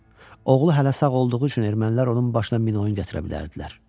Oğlu hələ sağ olduğu üçün ermənilər onun başına min oyun gətirə bilərdilər.